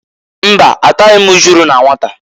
Mba! Ataghị m ujulu na nwata.